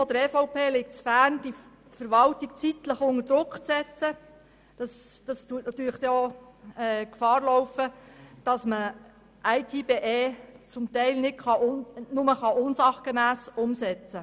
Der EVP liegt es fern, die Verwaltung zeitlich unter Druck setzen zu wollen, denn dies birgt die Gefahr, dass IT@BE unsachgemäss umgesetzt wird.